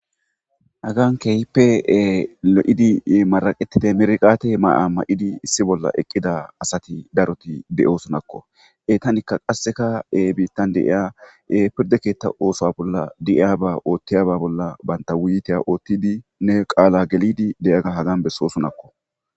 hagan kehipe lo7idi maraqetide merqate ma7a ma7idi issi bolla eqqida asati daroti beyo sunakko etanikka qasseka e biittan de7iya pirde keetta oosoa bolla di7iyaba oothtiyaba bolla baynta wuyiteya oottidi nne qaala gelidi deyaga hagan besso sunakko